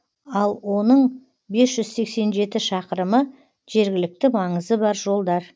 ал оның бес жүз сексен жеті шақырымы жергілікті маңызы бар жолдар